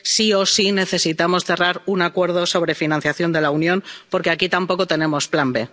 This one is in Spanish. Sí o sí, necesitamos cerrar un acuerdo sobre financiación de la Unión, porque aquí tampoco tenemos plan B.